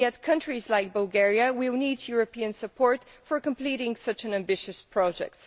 Yet countries like Bulgaria need European support for completing such an ambitious project.